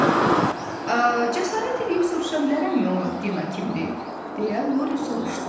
Cəsarət eləyib soruşa bilərəmmi o Dina kimdi, deyə Lori soruşdu.